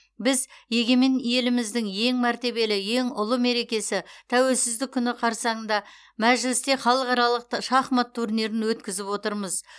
біз егемен еліміздің ең мәртебелі ең ұлы мерекесі тәуелсіздік күні қарсаңында мәжілісте халықаралық шахмат турнирін өткізіп отырмыз